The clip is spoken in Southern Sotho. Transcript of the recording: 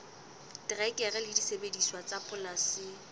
terekere le disebediswa tsa polasing